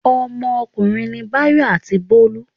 Ọmọkùnrin ni Báyọ̀ àti Bólú.